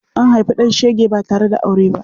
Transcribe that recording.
Akan haifi ɗan shege ba tare da aure ba.